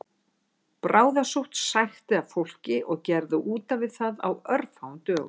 Bráðasótt sækti að fólki og gerði útaf við það á örfáum dögum